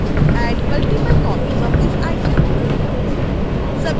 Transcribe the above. add multiple copies of this item